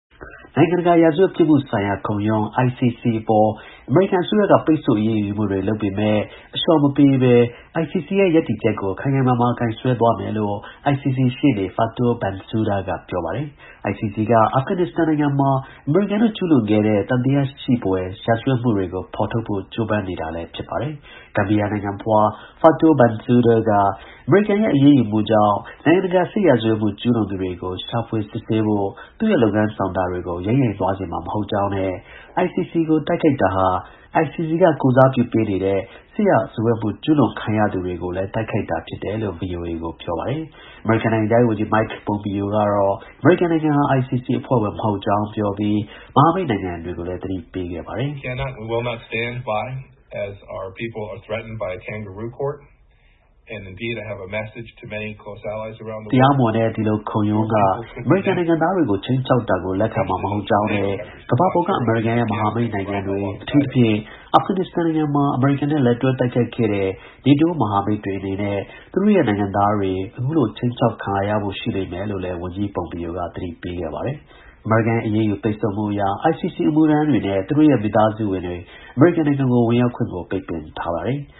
နိုင်ငံတကာ ရာဇဝတ်ပြစ်မှုဆိုင်ရာ ခုံရုံး ICC အပေါ် အမေရိကန် အစိုးရက ပိတ်ဆို့အရေးယူမှုတွေ လုပ်ပေမဲ့ အလျှော့မပေးဘဲ ICC ရဲ့ ရပ်တည်ချက်ကို ခိုင်ခိုင်မာမာ ကိုင်စွဲထားမယ်လို့ ICC ရှေ့နေ Fatou Bensouda က ပြောပါတယ်။ ICC က အာဖဂန် နစ္စတန်မှာ အမေရိကန် တို့ ကျူးလွန်ခဲ့တဲ့ သံသယရှိဖွယ် စစ်ရာဇဝတ်မှုတွေကို ဖော်ထုတ်ဖို့ ကြိုးပမ်းနေတာလည်း ဖြစ်ပါတယ်။ Gambia နိုင်ငံဖွား Fatou Bensouda က အမေရိကန်ရဲ့ အရေးယူမှုကြောင့် နိုင်ငံတကာ စစ် ရာဇဝတ်မှုကျူးလွန်သူတွေကို ရှာဖွေ စစ်ဆေးဖို့ သူ့ရဲ့ လုပ်ငန်း ဆောင်တာတွေကို ယိမ်းယိုင်သွားစေမှာ မဟုတ်ကြောင်းနဲ့ ICC ကို တိုက်ခိုက်တာဟာ ICC က ကိုယ်စားပြု ပေးနေတဲ့ စစ်ရာဇဝတ်မှု ကျူးလွန်ခံရသူတွေကို တိုက်ခိုက်တာလည်း ဖြစ်တယ်လို့ VOA ကို ပြောပါတယ်။ အမေရိကန် နိုင်ငံခြားရေး ဝန်ကြီး Mike Pompeo ကတော့ အမေရိကန်နိုင်ငံဟာ ICC အဖွဲ့ဝင် မဟုတ်ကြောင်း ပြောပြီး မဟာမိတ်နိုင်ငံတွေကိုလည်း သတိပေးခဲ့ပါတယ်။ “တရားမဝင်တဲ့ ဒီလို တရားခုံရုံးက အမေရိကန်နိုင်ငံသားတွေကို ခြိမ်းခြောက်တာကို လက်ခံမှာ မဟုတ်ကြောင်းနဲ့ ကမ္ဘာပေါ်က အမေရိကန်ရဲ့ မဟာ မိတ်နိုင်ငံတွေ အထူးသဖြင့် အာဖဂန် နစ္စတန်မှာ အမေရိကန်နဲ့ လက်တွဲ တိုက်ခိုက်ခဲ့တဲ့ နေတိုး မဟာမိတ် တွေအနေနဲ့ သူတို့ရဲ့ နိုင်ငံသားတွေက အခုလို ခြိမ်းခြောက်ခံရဖို့ ရှိလာလိမ့်မယ်” လို့ ဝန်ကြီး Pompeo က သတိပေးခဲ့ပါတယ်။ အမေရိကန်ရဲ့ အရေးယူ ပိတ်ဆို့မှုအရ ICC အမှုထမ်းတွေနဲ့ သူတို့ရဲ့ မိသားစုဝင်တွေ အမေရိကန်နိုင်ငံကို ဝင်ရောက်ခွင့် ကို ပိတ်ပင်ထားပါတယ်။